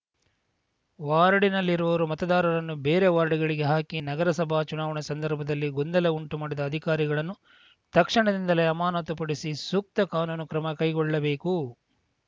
ವಾರ್ಡ್‌ನಲ್ಲಿರುವರು ಮತದಾರರನ್ನು ಬೇರೆ ವಾರ್ಡ್‌ಗಳಿಗೆ ಹಾಕಿ ನಗರಸಭಾ ಚುನಾವಣೆ ಸಂದರ್ಭದಲ್ಲಿ ಗೊಂದಲ ಉಂಟುಮಾಡಿದ ಅಧಿಕಾರಿಗಳನ್ನು ತಕ್ಷಣದಿಂದಲೇ ಅಮಾನತು ಪಡಿಸಿ ಸೂಕ್ತ ಕಾನೂನು ಕ್ರಮ ಕೈಗೊಳ್ಳಬೇಕು